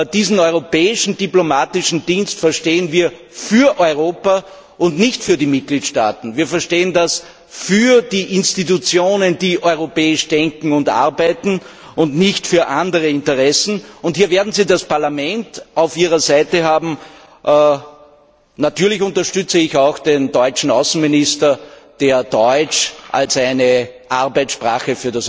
Diesen Europäischen Auswärtigen Dienst verstehen wir als einen Dienst für Europa und nicht für die Mitgliedstaaten, für die Institutionen, die europäisch denken und arbeiten, und nicht für andere Interessen. Hier werden Sie das Parlament auf Ihrer Seite haben. Natürlich unterstütze ich auch den deutschen Außenminister, der Deutsch als eine Arbeitssprache